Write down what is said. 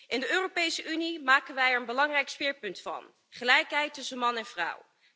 In de Europese Unie maken wij er een belangrijk speerpunt van gelijkheid tussen man en vrouw.